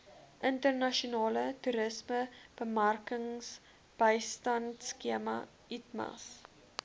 internasionale toerismebemarkingsbystandskema itmas